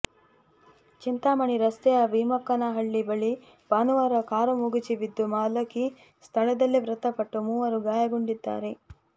ಚಿಂತಾಮಣಿ ರಸ್ತೆಯ ಬೀಮಕ್ಕನಹಳ್ಳಿ ಬಳಿ ಭಾನುವಾರ ಕಾರು ಮಗುಚಿ ಬಿದ್ದು ಬಾಲಕಿ ಸ್ಥಳದಲ್ಲೇ ಮೃತಪಟ್ಟು ಮೂವರು ಗಾಯಗೊಂಡಿದ್ದಾರೆ